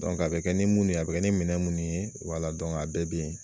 a be kɛ ni mun ye , a be kɛ ni minɛn munnu ye a bɛɛ be yen.